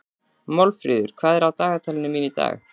Málfríður, hvað er á dagatalinu mínu í dag?